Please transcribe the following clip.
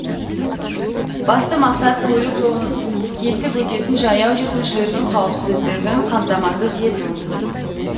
басты мақсат көлік жолын кесіп өтетін жаяу жүргіншілердің қауіпсіздігін қамтамасыз ету